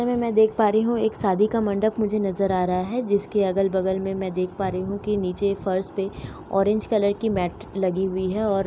मैं देख पा रही हूँ सादी का मंडप मुझे नजर आ रहा है जिसके अगल-बगल में मैं देख पा रही हूं कि नीचे फर्श पे ऑरेंज कलर की मेट लगी हुई है और --